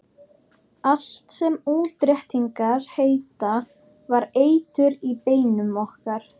Allt sem útréttingar heita var eitur í beinum okkar.